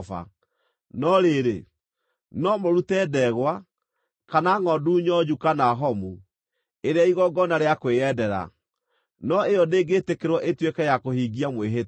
No rĩrĩ, no mũrute ndegwa, kana ngʼondu nyonju kana homu, ĩrĩ ya igongona rĩa kwĩyendera, no ĩyo ndĩngĩtĩkĩrwo ĩtuĩke ya kũhingia mwĩhĩtwa.